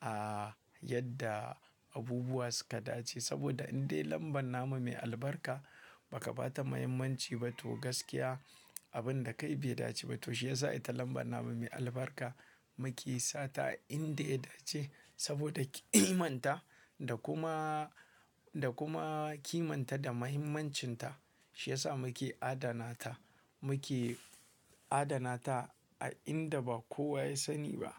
a yadda abubuwa suka dace. Saboda indai lambar namu mai albarka ba ka ba ta muhimmanci ba to gaskiya abin da kai bai dace ba. To shi yasa ita lambar namu mai albarka muke sa ta indai ta dace. Saboda ki manta da kuma, da kuma kimanta da muhimmancin ta, shi yasa muke adana ta. Muke adana ta a inda ba kowa ya sani ba.